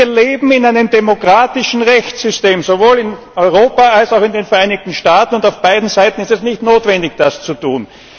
Wir leben in einem demokratischen Rechtssystem sowohl in Europa, als auch in den Vereinigten Staaten und auf beiden Seiten ist es nicht notwendig, das zu tun.